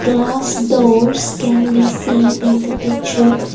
glass doors can be seen in the picture.